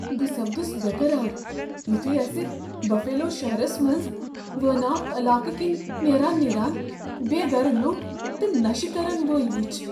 بہ سپدُس بیقرار یُتھُے اسۍ بفیلو شہرس منز وٲناکھ علاقہٕ کِنۍ نیران نیران بے گرٕ لوٗکھ تہٕ نشہٕ کرن وٲلۍ وُچھ ۔